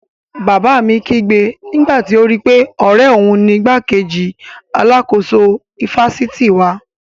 Bàbá mi kígbe nígbàtí ó rí pé ọ̀rẹ́ òun ni igbákejì alákóso ifásitì wa